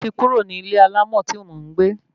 Mo ti kúrò ní ilé alámọ̀ tí mò ń gbé